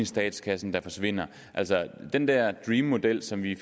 statskassen der forsvinder altså den der dream model som vi